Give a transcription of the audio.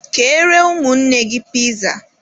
Keere ụmụnne gị piza!